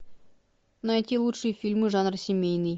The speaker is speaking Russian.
найти лучшие фильмы жанра семейный